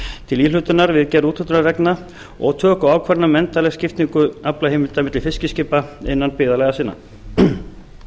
til íhlutunar við gerð úthlutunarreglna og töku ákvarðana um endanlega skiptingu aflaheimilda milli fiskiskipa innan byggðarlaga sinna